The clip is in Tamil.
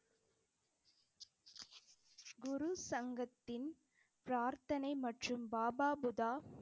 குரு சங்கத்தின் பிரார்த்தனை மற்றும் பாபா புதா~